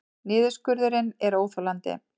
Niðurskurðurinn er óþolandi